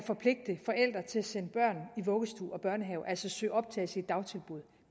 forpligte forældre til at sende børn i vuggestue og børnehave altså søge om optagelse i dagtilbud